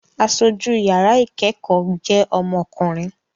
Aṣojú yàrá ìkẹ́kọ̀ọ́ jẹ́ ọmọkùnrin